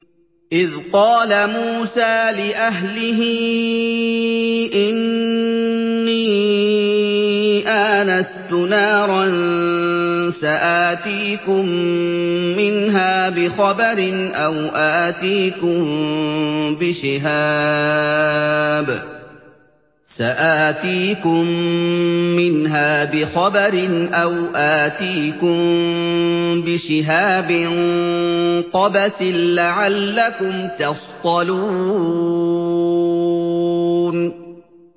إِذْ قَالَ مُوسَىٰ لِأَهْلِهِ إِنِّي آنَسْتُ نَارًا سَآتِيكُم مِّنْهَا بِخَبَرٍ أَوْ آتِيكُم بِشِهَابٍ قَبَسٍ لَّعَلَّكُمْ تَصْطَلُونَ